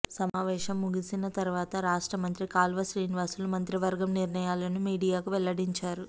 సమావేశం ముగిసిన తర్వాత రాష్ట్ర మంత్రి కాల్వ శ్రీనివాసులు మంత్రివర్గం నిర్ణయాలను మీడియాకు వెల్లడించారు